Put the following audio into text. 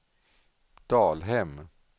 Dalhem